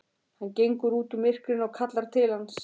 Hann gengur út úr myrkrinu og kallar til hans.